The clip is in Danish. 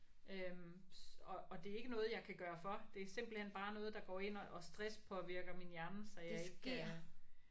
Øh og og det er ikke noget jeg kan gøre for det er simpelthen bare noget der går ind og og stresspåvirker min hjerne så jeg ikke